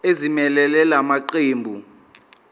ezimelele la maqembu